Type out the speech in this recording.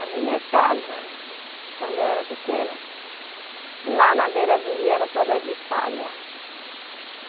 A minha casa. Quando você era pequena. Quando eu era pequena, lá na beira do rio era toda de palha.